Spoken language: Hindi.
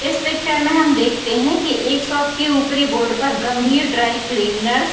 इस पिक्चर में हम देखते हैं की एक शॉप की उपरी बोर्ड पर गंभीर ड्राई क्लीनरस --